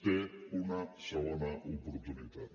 té una segona oportunitat